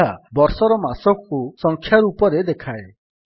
ଏହା ବର୍ଷର ମାସକୁ ସଂଖ୍ୟା ରୂପରେ ଦେଖାଏ